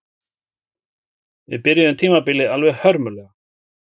Við byrjuðum tímabilið alveg hörmulega